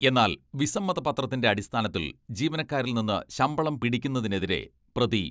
എന്നാൽ വിസമ്മത പത്രത്തിന്റെ അടിസ്ഥാനത്തിൽ ജീവനക്കാരിൽ നിന്ന് ശമ്പളം പിടിയ്ക്കുന്നതിനെതിരെ പ്രതി